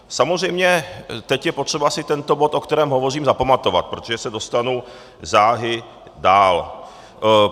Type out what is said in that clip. Samozřejmě teď je potřeba si tento bod, o kterém hovořím, zapamatovat, protože se dostanu záhy dál.